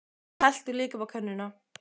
Og helltu líka upp á könnuna.